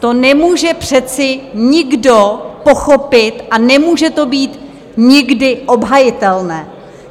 To nemůže přece nikdo pochopit a nemůže to být nikdy obhajitelné.